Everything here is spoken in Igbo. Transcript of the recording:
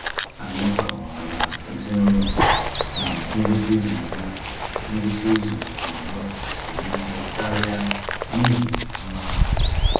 Anyị kọwaara ezinụlọ na ngwụsị izu ugbu ngwụsị izu ugbu a siri ike karịa n’ihi nwa ahụ.